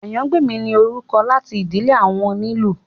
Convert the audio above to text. Àyàngbèmí ni orúkọ láti ìdílé àwọn onílù